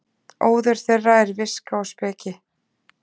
óður þeirra er viska og speki